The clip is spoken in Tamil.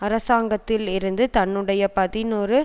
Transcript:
அரசாங்கத்தில் இருந்து தன்னுடைய பதினொரு